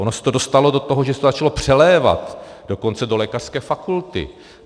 Ono se to dostalo do toho, že se to začalo přelévat dokonce do lékařské fakulty.